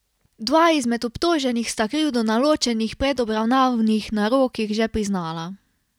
Dva izmed obtoženih sta krivdo na ločenih predobravnavnih narokih že priznala.